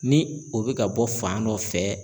Ni o bɛ ka bɔ fan dɔ fɛ